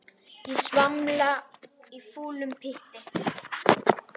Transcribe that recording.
Ég svamla í fúlum pytti.